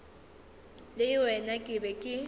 ke le wena ke be